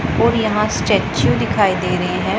और यहां स्टैचू दिखाई दे रहे है।